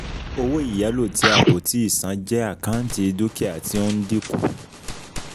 Owó ìyálò ti a kò tíì san jẹ́ àkáǹtì dúkìá tí ó ń dínkù.